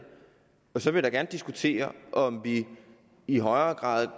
så vil jeg da gerne diskutere om vi i højere grad